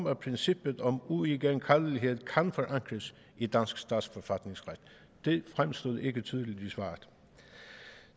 at princippet om uigenkaldelighed kan forankres i dansk statsforfatningsret det fremstod ikke tydeligt i svaret